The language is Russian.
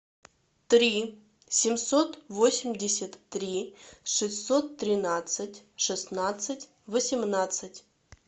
три семьсот восемьдесят три шестьсот тринадцать шестнадцать восемнадцать